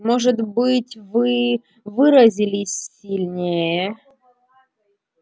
может быть вы выразились сильнее